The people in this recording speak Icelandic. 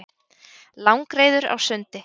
Langreyður á sundi.